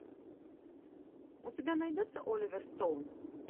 у тебя найдется оливер стоун